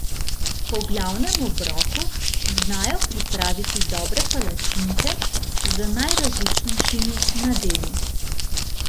Po glavnem obroku znajo pripraviti dobre palačinke z najrazličnejšimi nadevi.